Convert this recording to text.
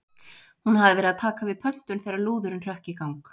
Hún hafði verið að taka við pöntun þegar lúðurinn hrökk í gang.